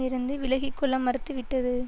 இருந்து விலகி கொள்ள மறுத்துவிட்டது